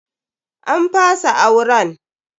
An fasa auren.